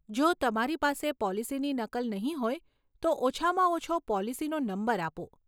જો તમારી પાસે પોલિસીની નકલ નહીં હોય તો ઓછામાં ઓછો પોલિસીનો નંબર આપો.